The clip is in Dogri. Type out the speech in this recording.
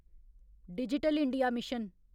digital India mission